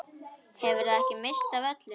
Hefurðu ekki minnst af öllum?